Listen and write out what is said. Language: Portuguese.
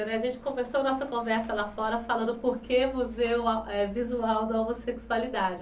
A gente começou nossa conversa lá fora falando por que o Museu Visual da Homossexualidade.